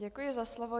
Děkuji za slovo.